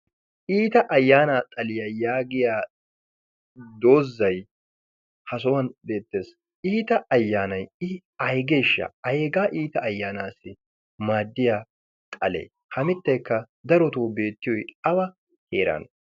Iita ayyaanaa xaliyaa yaagiya doozzay ha sohuwan beettees. Iita ayyaanay i aygeeshsha hagee iita ayyaanaassi maaddiyaa xalee? ha mitteekka darotoo beettiyoy awa heeran?